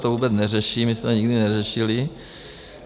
To vůbec neřeším, my jsme to nikdy neřešili.